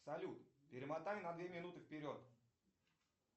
салют перемотай на две минуты вперед